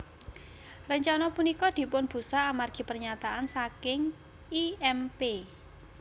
Rencana punika dipunbusak amargi pernyataan saking I M Pei